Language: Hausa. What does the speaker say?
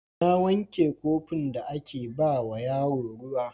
Na wanke kofin da ake ba wa yaro ruwa.